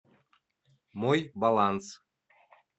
мой баланс